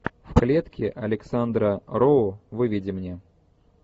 в клетке александра роу выведи мне